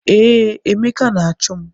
Ee, Emeka na-achụ m.